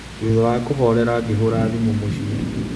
Thutha wa kũhoorera, ngĩhũra thimũ mũciĩ .